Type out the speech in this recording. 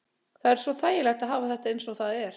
Það er svo þægilegt að hafa þetta eins og það er.